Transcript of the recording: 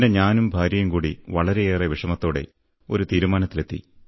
പിന്നെ ഞാനും ഭാര്യയുംകൂടി വളരെയേറെ വിഷമത്തോടെ ഒരു തീരുമാനത്തിലെത്തി